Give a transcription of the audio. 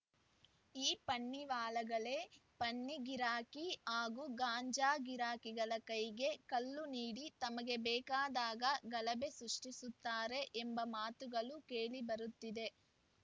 ಈ ಪನ್ನಿವಾಲಾಗಳೇ ಪನ್ನಿ ಗಿರಾಕಿ ಹಾಗೂ ಗಾಂಜಾ ಗಿರಾಕಿಗಳ ಕೈಗೆ ಕಲ್ಲು ನೀಡಿ ತಮಗೆ ಬೇಕಾದಾಗ ಗಲಭೆ ಸೃಷ್ಟಿಸುತ್ತಾರೆ ಎಂಬ ಮಾತುಗಳು ಕೇಳಿಬರುತ್ತಿದೆ